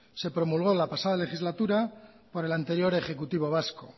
se promulgó la pasada legislatura por el anterior ejecutivo vasco